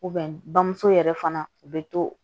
bamuso yɛrɛ fana u bɛ to